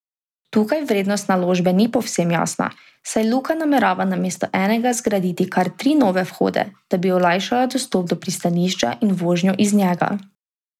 Tukaj vrednost naložbe ni povsem jasna, saj Luka namerava namesto enega zgraditi kar tri nove vhode, da bi olajšala dostop do pristanišča in vožnjo iz njega.